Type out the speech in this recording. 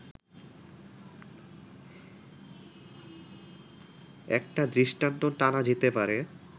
একটা দৃষ্টান্ত টানা যেতে পারে